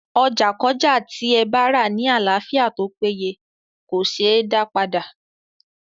Ọjà kọ́jà tí ẹ bárà ní àlàáfíà tópéye kòseé dá padà.